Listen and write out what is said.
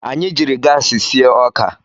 Anyị jiri gaasị sie ọka.